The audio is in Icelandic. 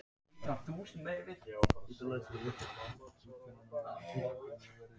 Hægt er að skipta þessum tegundum í tvo hópa.